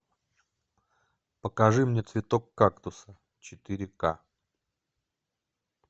покажи мне цветок кактуса четыре ка